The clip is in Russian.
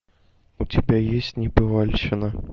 у тебя есть небывальщина